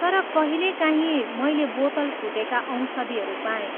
तर कहिलेकाहीँ मैले बोतल फुटेका औषधिहरू पाएँ।